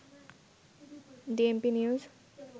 DMP news